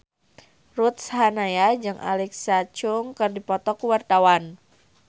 Ruth Sahanaya jeung Alexa Chung keur dipoto ku wartawan